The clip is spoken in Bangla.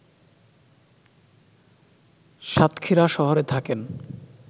সাতক্ষীরা শহরে থাকেন